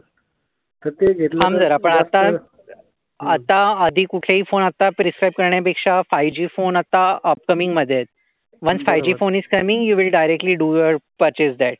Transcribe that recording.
थांब जरा. पण आता. आता आधी कुठेई फोन प्रेसप करण्यापेक्षा फायुजी फोन आता अपकमिंग मध्ये आहेत. Once Fuji phone is coming you will directly will directly do your purchase that.